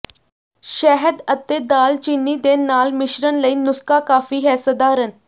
ਸ਼ਹਿਦ ਅਤੇ ਦਾਲਚੀਨੀ ਦੇ ਨਾਲ ਮਿਸ਼ਰਣ ਲਈ ਨੁਸਖਾ ਕਾਫ਼ੀ ਹੈ ਸਧਾਰਨ